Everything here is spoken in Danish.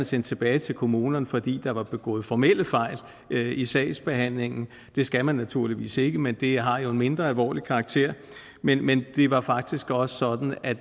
sendt tilbage til kommunerne fordi der var begået formelle fejl i sagsbehandlingen det skal man naturligvis ikke men det har jo en mindre alvorlig karakter men men det var faktisk også sådan at